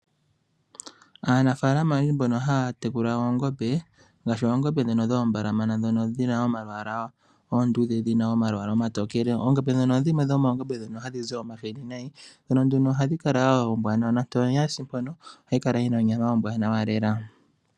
Aanafaalama oyendji mbono haya tekula oongombe ngaashi oongombe dhi dhoombalamana dhono dhi dhina omalwaala oonduudhe nenge dhina omalwaala omatokele, oongombe dhino odho dhimwe dhomoongombe dhi hadhi zi omahini nayi. Ndhono nduno ohadhi kala woo oombwanawa noontoye ngele yasi mpono ohayi kala yi na onyama ombwaanawa lela.